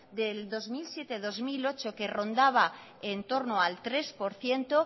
del dos mil siete dos mil ocho que rondaba el tres por ciento